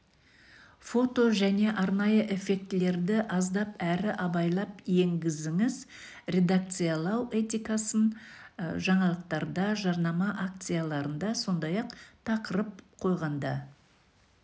фото және арнайы эффектілерді аздап әрі абайлап енгізіңіз редакциялау этикасын жаңалықтарда жарнама акцияларында сондай-ақ тақырып қойғанда